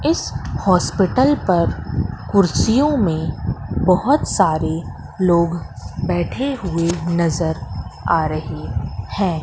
इस हॉस्पिटल पर कुर्सियों में बहोत सारे लोग बैठे हुए नजर आ रहे हैं।